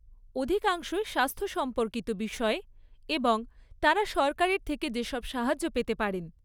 অধিকাংশই স্বাস্থ্য সম্পর্কিত বিষয়ে এবং তাঁরা সরকারের থেকে যেসব সাহায্য পেতে পারেন।